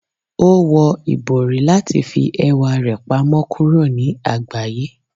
O wọ ibori lati fi ẹwa rẹ pamọ kuro ni agbaye.